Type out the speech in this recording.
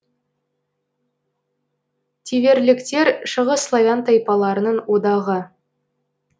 тиверліктер шығыс славян тайпаларының одағы